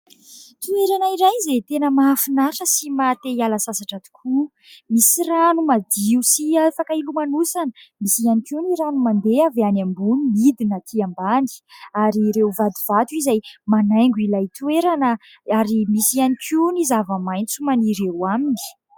Toerana iray izay tena mahafinaritra sy mahate-hiala sasatra tokoa, misy rano madio sy afaka hilomanosana, misy ihany koa ny rano mandeha avy any ambony midina atỳ ambany, ary ireo vatovato izay manaingo ilay toerana ary misy ihany koa ny zava-maitso maniry eo aminy.